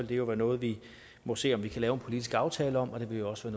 det jo være noget vi må se om vi kan lave en politisk aftale om og det vil også